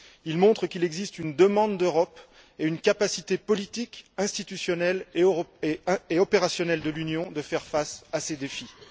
Il montre qu'il existe une demande d'Europe et une capacité politique institutionnelle et opérationnelle de l'Union à faire face à ces défis.